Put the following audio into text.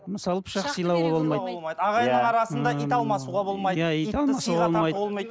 ағайынның арасында ит алмасуға болмайды